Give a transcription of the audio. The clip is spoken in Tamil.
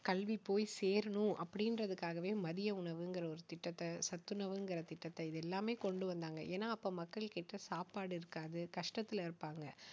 கல்வி போய் சேரணும் அப்படிங்கிறதுக்காகவே மதிய உணவுங்கிற ஒரு திட்டத்தை சத்துணவுங்கிற திட்டத்தை இது எல்லாமே கொண்டு வந்தாங்க ஏன்னா அப்ப மக்கள் கிட்ட சாப்பாடு இருக்காது கஷ்டத்தில இருப்பாங்க